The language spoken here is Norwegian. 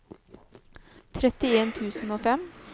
trettien tusen og fem